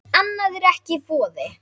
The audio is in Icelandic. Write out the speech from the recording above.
Annað er ekki í boði.